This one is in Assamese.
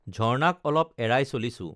ঝৰ্ণাক অলপ এৰাই চলিছো